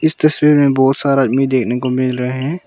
इस तस्वीर में बहुत सारा आदमी देखने को मिल रहे हैं।